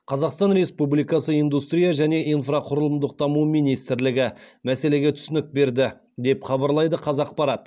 қазақстан республикасы индустрия және инфрақұрылымдық даму министрлігі мәселеге түсінік берді деп хабарлайды қазақпарат